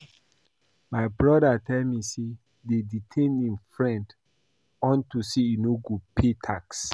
My brother tell me say dey detain im friend unto say e no dey pay tax